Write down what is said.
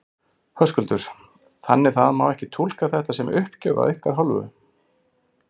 Höskuldur: Þannig það má ekki túlka þetta sem uppgjöf af ykkar hálfu?